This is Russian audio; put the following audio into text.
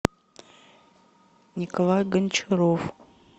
николай гончаров